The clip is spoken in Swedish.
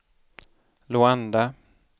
Luanda